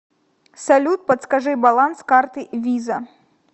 салют подскажи баланс карты виза